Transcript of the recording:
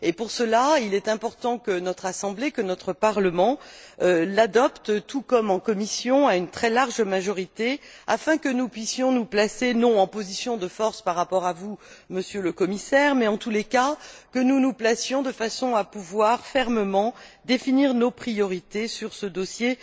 Pour cela, il est important que notre Assemblée, que notre Parlement l'adopte, tout comme en commission, à une très large majorité, afin que nous puissions nous placer, non en position de force par rapport à vous, Monsieur le Commissaire, mais en tous les cas, que nous nous placions de façon à pouvoir fermement définir nos priorités sur ce dossier